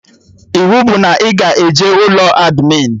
Iwu bụ na ị ga-eje ụlọ admịn